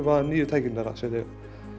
nýju tækin þeirra sem þau